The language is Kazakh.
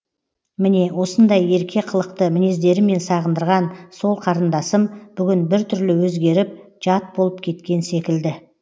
міне осындай ерке қылықты мінездерімен сағындырған сол қарындасым бүгін бір түрлі өзгеріп жат болып кеткен секілді